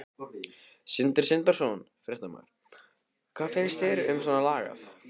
Sindri Sindrason, fréttamaður: Hvað finnst þér um svona lagað?